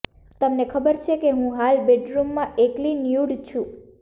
તમને ખબર છે હું હાલ બેડરૂમમાં એકલી ન્યૂડ છું